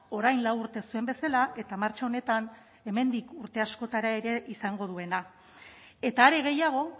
orain lau urte zuen bezala eta martxa honetan hemendik urte askotara ere izango duena eta are gehiago